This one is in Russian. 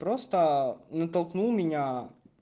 просто натолкнул меня